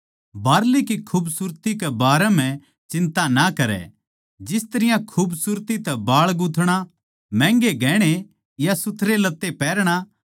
बाहरली की खूबसूरती के बारें म्ह चिन्ता ना करै जिस तरियां खूबसूरती तै बाळ गूँथणा महंगे गहणे या सुथरे लत्तें पैहरणा